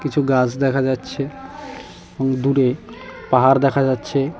কিছু গাছ দেখা যাচ্ছে এবং দূরে পাহাড় দেখা যাচ্ছে।